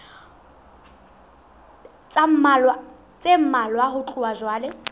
tse mmalwa ho tloha jwale